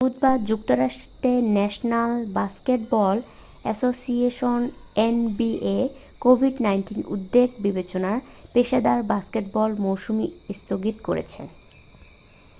বুধবার যুক্তরাষ্টের national basketball association NBA কোভিড-১৯ উদ্বেগ বিবেচনায় পেশাদার বাস্কেটবল মৌসুম স্থগিত করেছে।